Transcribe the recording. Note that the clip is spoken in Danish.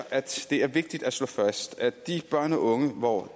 at det er vigtigt at slå fast at de børn og unge hvor